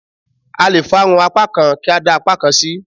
A lè fárun apá kan kí a dá apá kan sí.